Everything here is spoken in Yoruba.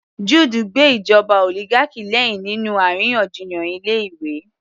Jude gbe ìjọba oligarchy lẹ́hìn nínú àríyànjiyàn ilé ìwé